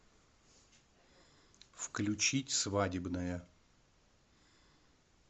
включить свадебная